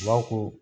U b'a fɔ ko